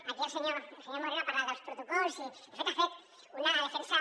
aquí el senyor moreno ha parlat dels protocols i de fet ha fet una de·fensa